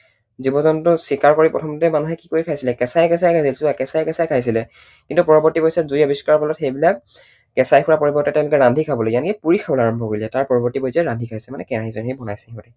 জীৱ জন্তু চিকাৰ কৰি প্ৰথমতে মানুহে কি কৰি খাইছিলে? কেঁচাই কেঁচাই খাইছিলে। কিন্তু পৰৱৰ্তী পৰ্য্যায়ত জুইৰ আৱিষ্কাৰৰ ফলত সেইবিলাক কেঁচাই খোৱাৰ পৰিৱৰ্তে তেঁওলোকে ৰান্ধি খাবলৈ শিকিলে। পুৰি খাবলৈ আৰম্ভ কৰিলে। তাৰ পৰৱৰ্তী পৰ্য্যায়ত ৰান্ধি খাইছে কেৰাহী চেৰাহীয়ে বনাইছে।